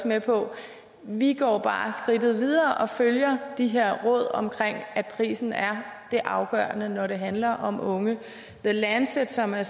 med på vi går bare skridtet videre og følger de her råd om at prisen er det afgørende når det handler om unge the lancet som er